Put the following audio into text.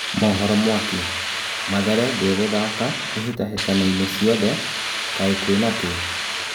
(Mohoro Mwaki) Mathare ndĩ gũthaka ihĩ tahĩ tanoinĩ ciothe. Kaĩ kwĩ na kĩ ?